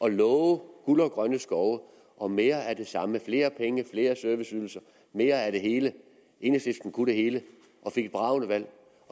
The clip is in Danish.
at love guld og grønne skove og mere af det samme flere penge flere serviceydelser og mere af det hele enhedslisten kunne det hele og fik et bragende valg